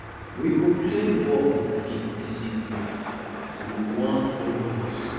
we go play ball for field dis evening you wan folo us